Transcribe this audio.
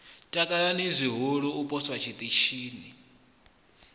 takala zwihulu u poswa tshiṱitshini